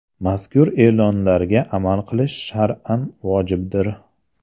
Mazkur e’lonlarga amal qilish shar’an vojibdir.